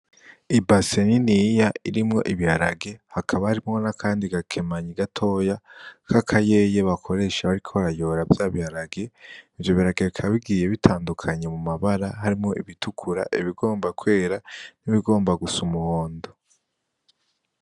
I baseniniya irimwo ibiharage hakaba harimwo na, kandi gakemanya igatoya k'akayeye bakoresha bariko rayora vya biharage vyobiragakabigiye bitandukanye mu mabara harimwo ibitukura ibigomba kwera n'ibigomba gusa umuhondo.